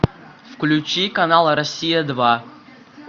включи канал россия два